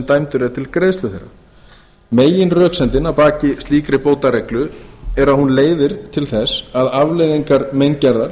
dæmdur er til greiðslu þeirra meginröksemdin að baki slíkri bótareglu er að hún leiðir til þess að afleiðingar meingerðar